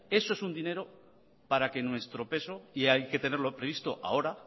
eso es un dinero para que nuestro peso y eso hay que tenerlo previsto ahora